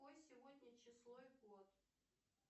какое сегодня число и год